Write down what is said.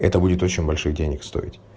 это будет очень больших денег стоить